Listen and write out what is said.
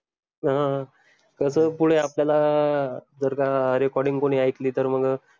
अं कस पुढे आपल्याला जर का recording कोणी ऐकली तर मग